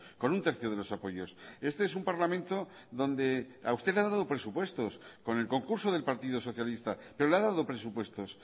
con un tercio de los apoyos este es un parlamento donde a usted le ha dado presupuestos con el concurso del partido socialista pero le ha dado presupuestos